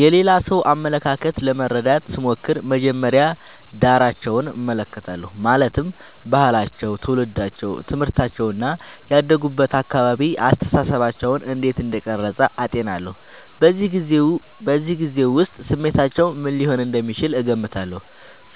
የሌላ ሰው አመለካከት ለመረዳት ስሞክር መጀመሪያ ዳራቸውን እመለከታለሁ ማለትም ባህላቸው ትውልዳቸው ትምህርታቸው እና ያደጉበት አካባቢ አስተሳሰባቸውን እንዴት እንደቀረጸ አጤናለሁ በዚያ ጊዜ ውስጥ ስሜታቸው ምን ሊሆን እንደሚችል እገምታለሁ